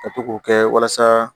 Ka to k'o kɛ walasa